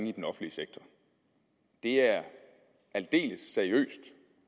i den offentlige sektor det er aldeles seriøst